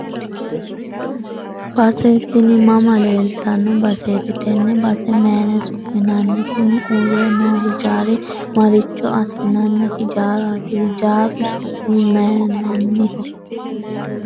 base tini mama leeltanno baseeti? tenne base mayiine su'minanni? kuni uurre noo hijaari maricho assinanni hijaaraati? hijaaru su'mi mayiinanniho ?